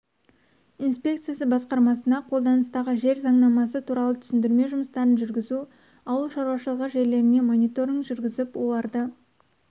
инспекциясы басқармасына қолданыстағы жер заңнамасы туралы түсіндірме жұмыстарын жүргізу ауыл шаруашылығы жерлеріне мониторинг жүргізіп оларды